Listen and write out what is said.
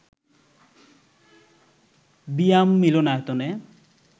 বিয়াম মিলনায়তনে